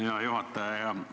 Hea juhataja!